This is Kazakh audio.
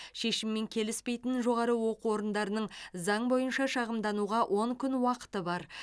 шешіммен келіспейтін жоғары оқу орындарының заң бойынша шағымдануға он күн уақыты бар